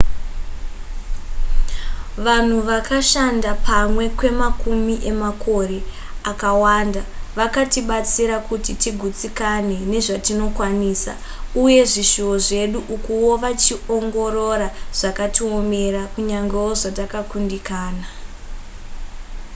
vanhu vakashanda pamwe kwemakumi emakore akawanda vakatibatsira kuti tigutsikane nezvatinokwanisa uye zvishuwo zvedu ukuwo wachiongorora zvakatiomera kunyangewo zvatakakundikana